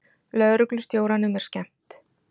Lögreglustjóranum er skemmt.